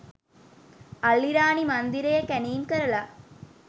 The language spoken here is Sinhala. අල්ලිරාණි මන්දිරයේ කැනීම් කරලා